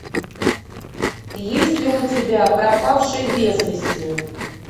есть ли у тебя пропавшие без вести